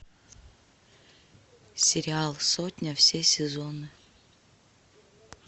сериал сотня все сезоны